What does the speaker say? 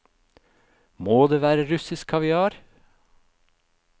Må det være russisk kaviar?